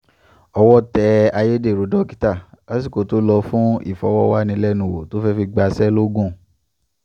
owó tẹ ayédèrú dókítà lásìkò tó lò fún ìfọ̀rọ̀wánilẹ́nuwò tó fẹ́ẹ̀ fi gbaṣẹ́ lọ́gùn